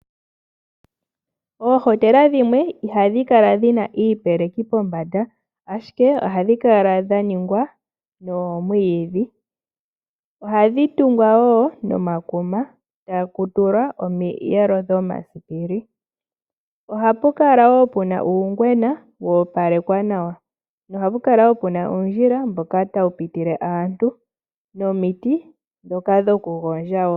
Oohotela dhimwe ihadhi kala dhi na iipeleki pombanda, ashike ohadhi kala dha ningwa noomwiidhi. Ohadhi tungwa wo nomakuma, taku tulwa omiyelo dhomasipili. Ohapu kala wo pu na uungwena wa opalekwa nawa. Ohapu kala wo pu na uundjila mboka tawu pitile aantu, nomiti ndhoka dhokugondja wo.